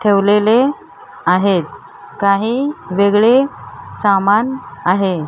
ठेवलेले आहेत काही वेगळे सामान आहे.